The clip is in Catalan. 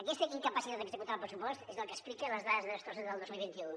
aquesta incapacitat d’executar el pressupost és el que explica les dades de despesa del dos mil vint u